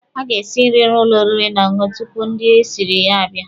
A ga-esi nri n'ụlọ oriri na ọṅụṅụ tupu ndị esiri ya abịa.